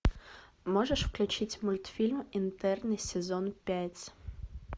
можешь включить мультфильм интерны сезон пять